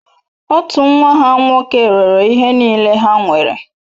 Otu nwa ha nwoke rere ihe niile ha nwere.